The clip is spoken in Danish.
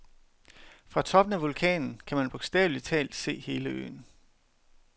Fra toppen af vulkanen kan man bogstaveligt talt se hele øen.